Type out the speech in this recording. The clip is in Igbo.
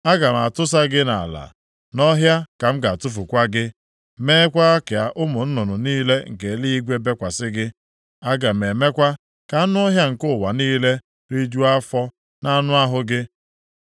Aga m atụsa gị nʼala, nʼọhịa ka m ga-atụfukwa gị, meekwa ka ụmụ nnụnụ niile nke eluigwe bekwasị gị. Aga m emekwa ka anụ ọhịa nke ụwa niile rijuo afọ nʼanụ ahụ gị.